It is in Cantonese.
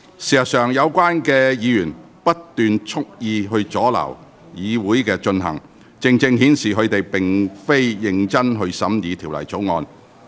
事實上，有關議員不斷蓄意阻撓會議進行，正正顯示他們並非認真審議《條例草案》。